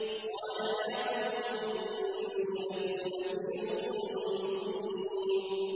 قَالَ يَا قَوْمِ إِنِّي لَكُمْ نَذِيرٌ مُّبِينٌ